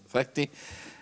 þætti